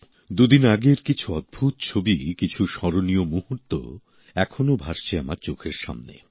দু দিন আগের কিছু অদ্ভূত ছবি কিছু স্মরণীয় মুহূর্ত এখনও ভাসছে আমার চোখের সামনে